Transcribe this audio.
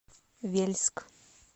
вельск